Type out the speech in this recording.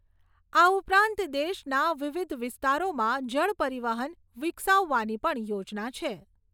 આ ઉપરાંત દેશના વિવિધ વિસ્તારોમાં જળ પરિવહન વિકસાવવાની પણ યોજના છે.